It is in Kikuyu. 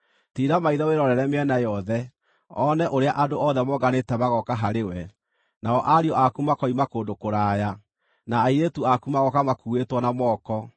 “Tiira maitho wĩrorere mĩena yothe: One ũrĩa andũ othe monganĩte magooka harĩwe, nao ariũ aku makoima kũndũ kũraya, nao airĩtu aku magooka makuuĩtwo na moko.